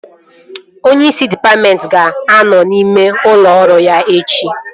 Onyeisi dịpatmentị ga-anọ n'ime ụlọ ọrụ ya echi